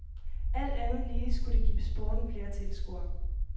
Alt andet lige skulle det give sporten flere tilskuere.